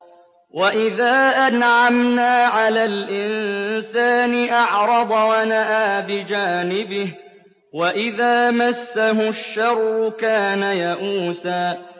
وَإِذَا أَنْعَمْنَا عَلَى الْإِنسَانِ أَعْرَضَ وَنَأَىٰ بِجَانِبِهِ ۖ وَإِذَا مَسَّهُ الشَّرُّ كَانَ يَئُوسًا